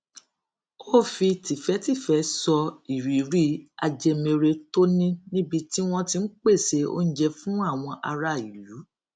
ó fi tìfétìfé sọ ìrírí ajẹmere tó ní níbi tí wón ti ń pèsè oúnjẹ fún àwọn ará ilú